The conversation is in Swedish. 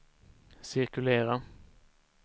cirkulera